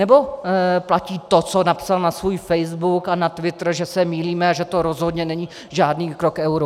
Anebo platí to, co napsal na svůj facebook a na twitter, že se mýlíme a že to rozhodně není žádný krok k euru?